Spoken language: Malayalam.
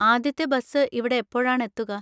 ആദ്യത്തെ ബസ് ഇവിടെ എപ്പോഴാണ് എത്തുക?